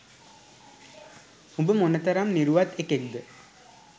උඹ මොන තරම් නිරුවත් එකෙක්ද